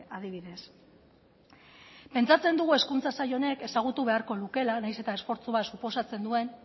adibidez pentsatzen dugu hezkuntza sail honek ezagutu beharko lukeela nahiz eta esfortzu bat suposatzen duen